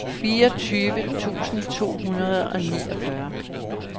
fireogtyve tusind to hundrede og niogfyrre